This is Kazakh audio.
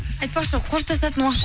айтпақшы қоштасатын уақыт